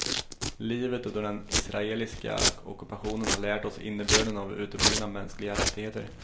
Livet under den israeliska ockupationen har lärt oss innebörden av uteblivna mänskliga rättigheter.